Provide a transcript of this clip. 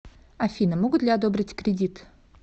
афина могут ли одобрить кредит